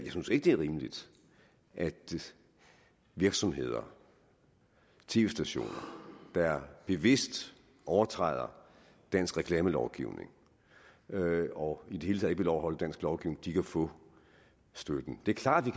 det er rimeligt at virksomheder tv stationer der bevidst overtræder dansk reklamelovgivning og i det hele taget ikke vil overholde dansk lovgivning kan få støtten det er klart at vi